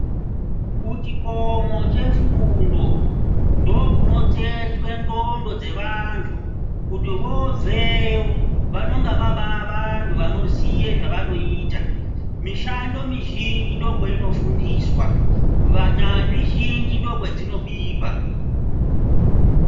kuchikomo chefundo ndokunotsetswe ndxondo dzevantu. Kuti vobveyo vanongavaba vantu vanoziya zvavanoita. Mishando mizhinji ndokwaino fundiswa, vanyanzvi zhinji ndokwadzinobikwa.